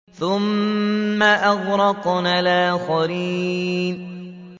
ثُمَّ أَغْرَقْنَا الْآخَرِينَ